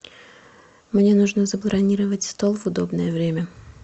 мне нужно забронировать стол в удобное время